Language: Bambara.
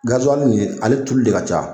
Garizalili nin ye ale tulu de ka ca